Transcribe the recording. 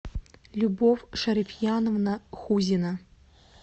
любовь шарифьяновна хузина